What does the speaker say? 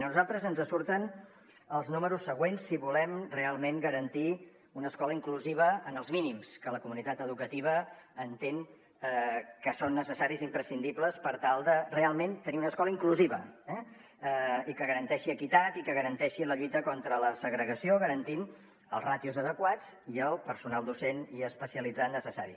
a nosaltres ens surten els números següents si volem realment garantir una escola inclusiva en els mínims que la comunitat educativa entén que són necessaris i imprescindibles per tal de realment tenir una escola inclusiva i que garanteixi equitat i que garanteixi la lluita contra la segregació garantint les ràtios adequades i el personal docent i especialitzat necessari